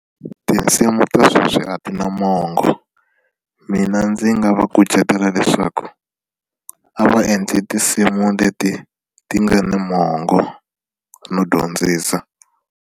Tinsimu ta sweswi a ti na mongo mina ndzi nga va kucetela leswaku a va endli tinsimu leti ti nga na mongo no dyondzisa.